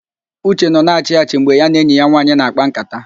Uche nọ na-achị achị mgbe ya na enyi ya nwaanyị na-àkpá ńkátá